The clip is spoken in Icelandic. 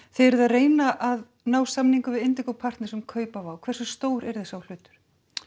þið eruð að reyna að ná samningum við partners um kaup á hversu stór yrði sá hlutur